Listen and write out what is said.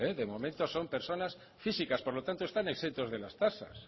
de momento son personas físicas por lo tanto están exentos de las tasas